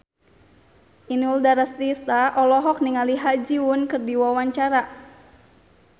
Inul Daratista olohok ningali Ha Ji Won keur diwawancara